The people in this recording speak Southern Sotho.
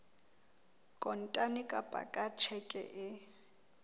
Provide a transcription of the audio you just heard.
kontane kapa ka tjheke e